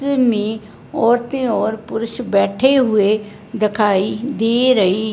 मे औरतें और पुरुष बैठे हुए दिखाई दे रही--